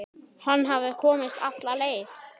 Hann hafði komist alla leið!